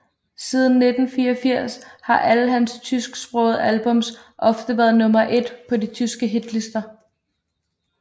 Siden 1984 har alle hans tysksprogede albums ofte været nummer et på de tyske hitlister